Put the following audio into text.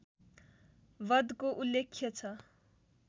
बधको उल्लेख्य छ